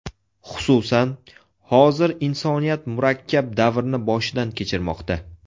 Xususan, hozir insoniyat murakkab davrni boshidan kechirmoqda.